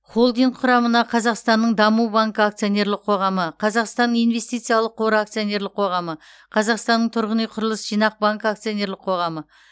холдинг құрамына қазақстанның даму банкі акционерлік қоғамы қазақстанның инвестициялық қоры акционерлік қоғамы қазақстанның тұрғын үй құрылыс жинақ банкі акционерлік қоғамы